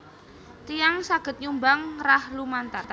Tiyang saged nyumbang rah lumantar